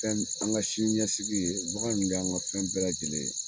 Fɛn an ka sini ɲɛsigi ye bagan ninnu de y'an ka fɛn bɛɛ lajɛlen ye